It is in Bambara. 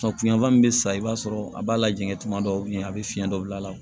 yan fan min bɛ sa i b'a sɔrɔ a b'a lajɛn tuma dɔw la a bɛ fiyɛn dɔ bila a la